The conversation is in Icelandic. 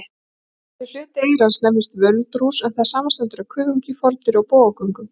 Þessi hluti eyrans nefnist völundarhús, en það samanstendur af kuðungi, fordyri og bogagöngum.